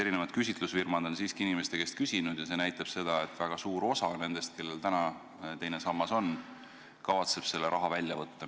Eri küsitlusfirmad on siiski inimeste käest küsinud ja vastused näitavad seda, et väga suur osa nendest, kellel teine sammas olemas on, kavatseb selle raha välja võtta.